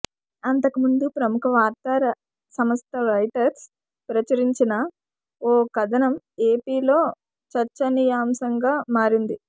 అంతకముందు ప్రముఖ వార్తా సంస్థ రాయిటర్స్ ప్రచురించిన ఓ కథనం ఏపీలో చర్చనీయాంశంగా మారింది